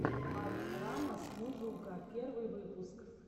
аль раммас музука первый выпуск